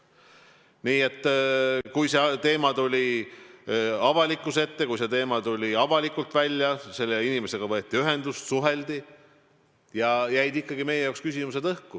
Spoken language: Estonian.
Nii et kui see teema tuli avalikkuse ette, siis võeti selle inimesega ühendust ja suheldi temaga, aga ikkagi jäid meie jaoks küsimused õhku.